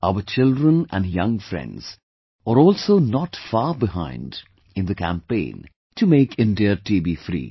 Our children and young friends are also not far behind in the campaign to make India TB free